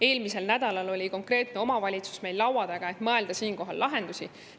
Eelmisel nädalal oli konkreetne omavalitsus meil laua taga, et mõelda välja lahendusi.